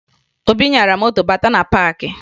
Obi nyara moto bátá na paakị